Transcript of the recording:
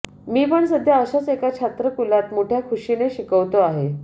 मीपण सध्या अशाच एका छात्रकुलात मोठ्या खुशीने शिकवतो आहे